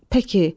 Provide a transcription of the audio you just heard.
Pəki.